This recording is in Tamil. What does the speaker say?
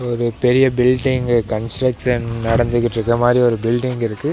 ஒரு பெரிய பில்டிங் கன்ஸ்ட்ரக்ஸன் நடந்துகிட்ருக்கமாரி ஒரு பில்டிங் இருக்கு.